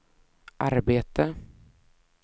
arbete